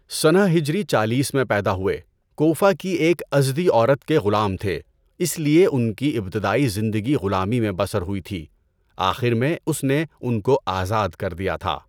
سنہ ہجری چالیس میں پیدا ہوئے، کوفہ کی ایک ازدی عورت کے غلام تھے، اس لیے ان کی ابتدائی زندگی غلامی میں بسر ہوئی تھی۔ آخر میں اس نے ان کو آزاد کر دیا تھا۔